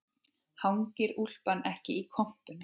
Hangir úlpan ekki í kompunni